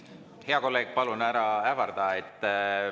Hea kolleeg, palun ära ähvarda!